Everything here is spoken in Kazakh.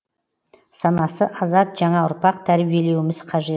санасы азат жаңа ұрпақ тәрбиелеуіміз қажет